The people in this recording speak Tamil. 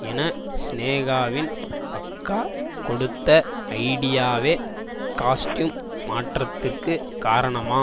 என சினேகாவின் அக்கா கொடுத்த ஐடியாவே காஸ்ட்யூம் மாற்றத்திற்கு காரணமாம்